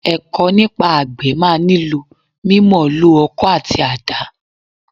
Ẹ̀kọ́ nípa àgbẹ̀ máa nílò mímọ̀ǹlò ọkọ́ àti àdá.